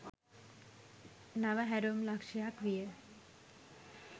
නව හැරවුම් ලක්ෂ්‍යයක් විය.